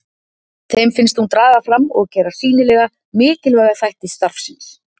Þeim finnst hún draga fram og gera sýnilega mikilvæga þætti starfsins.